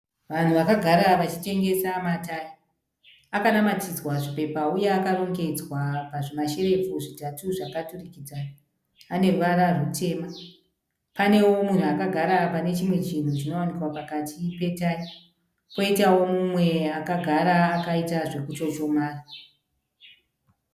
Vanhu vakagara vachitengesa matayi. Akanamatidzwa zvipepa uye akarongedzwa pazvimasherefu zvitatu zvakaturikidzana, ane ruvara rutema. Panewo mumwe munhu akagara pane chimwe chinhu chinowanikwa pakati petayi, poitawo mumwe akagara akaita zvokuchochomara.